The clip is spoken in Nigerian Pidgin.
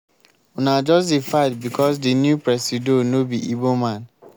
una just dey fight because di new presido no be igbo man.